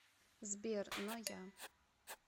сбер но я